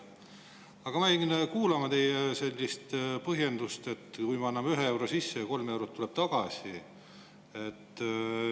Aga ma jäin kuulama teie sellist põhjendust, et kui me anname ühe euro sisse, siis kolm eurot tuleb tagasi.